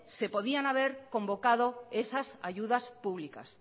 se podían haber convocado esas ayudas públicas